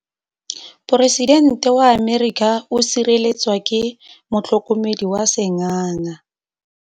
Poresitêntê wa Amerika o sireletswa ke motlhokomedi wa sengaga.